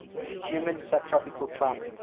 humid subtropical climate